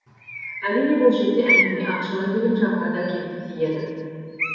әрине бұл жерде әңгіме ақшалай төлем жағына да келіп тиеді